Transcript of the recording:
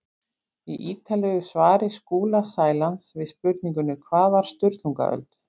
Í ítarlegu svari Skúla Sælands við spurningunni Hvað var Sturlungaöld?